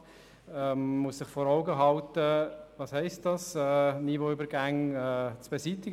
Man muss sich vor Augen halten, was es heisst, die Niveauübergänge zu beseitigen: